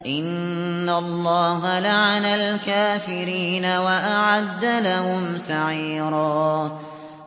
إِنَّ اللَّهَ لَعَنَ الْكَافِرِينَ وَأَعَدَّ لَهُمْ سَعِيرًا